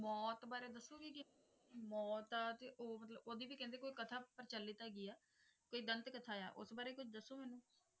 ਮੌਤ ਬਾਰੇ ਦੱਸੋਗੇ ਕਿ ਮੌਤ ਦਾ ਤੇ ਉਹ ਮਤਲਬ ਉਹਦੀ ਵੀ ਕਹਿੰਦੇ ਕੋਈ ਕਥਾ ਪ੍ਰਚਲਿਤ ਹੈਗੀ ਹੈ, ਕੋਈ ਦੰਤ ਕਥਾ ਆ, ਉਸ ਬਾਰੇ ਕੁੱਝ ਦੱਸੋ ਮੈਨੂੰ।